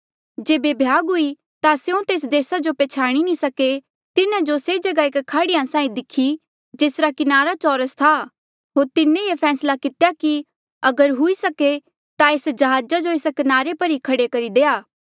जेबे भ्याग हुई ता स्यों तेस देसा जो नी पैह्चाणी सके तिन्हा जो से जगहा एक खाड़ी देखी जेसरा किनारा चौरस था होर तिन्हें ये फैसला कितेया कि अगर हुई सके ता एस जहाजा जो एस किनारे पर ई खड़ा करी दे